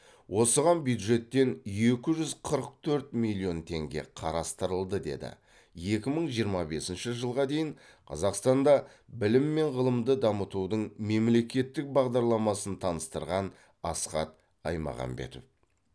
осыған бюджеттен екі жүз қырық төрт миллион теңге қарастырылды деді екі мың жиырма бесінші жылға дейін қазақстанда білім мен ғылымды дамытудың мемлекеттік бағдарламасын таныстырған асхат аймағамбетов